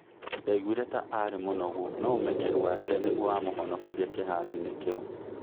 " Ndaiguire ta arĩ mũnogu, no ũmenyeru wake nĩguo wamũhonokirie kĩharoinĩ kĩu.